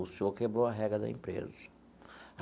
O senhor quebrou a regra da empresa.